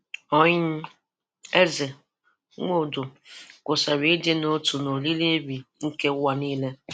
Ooni, Eze, Nwodo kwusara ịdị n'otu n' oriri Eri nke ụwa niile.